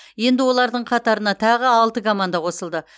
енді олардың қатарына тағы алты команда қосылды